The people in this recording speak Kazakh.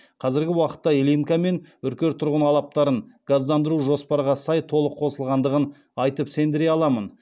қазіргі уақытта ильинка мен үркер тұрғын алаптарын газдандыру жоспарға сай толық қосылғандығын айтып сендіре аламын